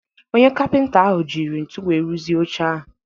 Onye kapịnta ahụ jiri ntu wee rụzi oche ahụ.